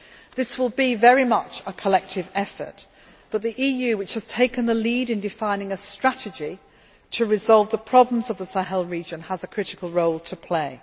This will be very much a collective effort, but the EU, which has taken the lead in defining a strategy to resolve the problems of the Sahel region, has a critical role to play.